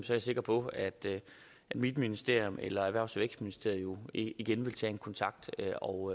jeg sikker på at at mit ministerium eller erhvervs og vækstministeriet igen vil tage en kontakt og